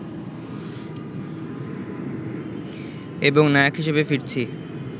এবং নায়ক হিসেবে ফিরছি